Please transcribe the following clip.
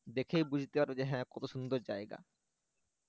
দেখলেই বুঝতে পারবে যে হ্যাঁ কত সুন্দর জায়গা